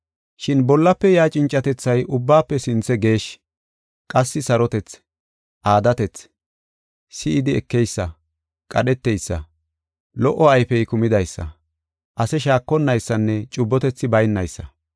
Shin bollafe yaa cincatethay ubbaafe sinthe geeshshi. Qassi sarotethi, aadatethi, si7idi ekeysa, qadheteysa, lo77o ayfey kumidaysa, ase shaakonnaysanne cubbotethi baynaysa.